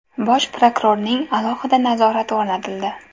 Bosh prokurorning alohida nazorati o‘rnatildi.